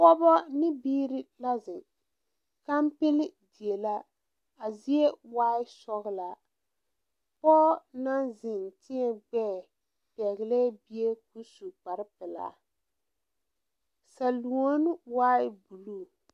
Pɔgebo ne biiri la zeŋ, kanpile die la ,a zie waa sɔglaa, pɔge naŋ biŋ tuɛ gbɛɛ a pɛgle bie su kpare pelaa salɔne waa blue.